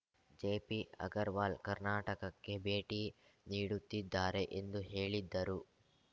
JP Agarwal ಕರ್ನಾಟಕಕ್ಕೆ ಭೇಟಿ ನೀಡುತ್ತಿದ್ದಾರೆ ಎಂದು ಹೇಳಿದ್ದರು